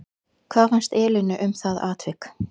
Hvað fannst Elínu um það atvik?